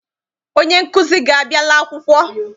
Onye nkụzi gị abiala akwụkwọ?